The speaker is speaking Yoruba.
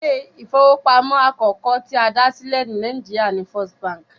Ilé ìfowópamọ́ àkọ́kọ́ tí a dá sílẹ̀ ní Nàìjíríà ni First Bank